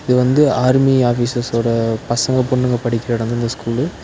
இது வந்து ஆர்மி ஆஃபீஸர்ஸோட பசங்க பொண்ணுங்க படிக்கிற எடோ இந்த ஸ்கூலு .